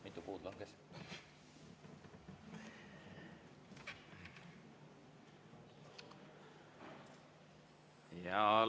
Mitu puud langes?